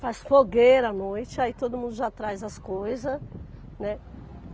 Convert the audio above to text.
Faz fogueira à noite, aí todo mundo já traz as coisas, né?